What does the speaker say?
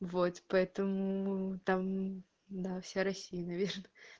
вот поэтому там да вся россия наверно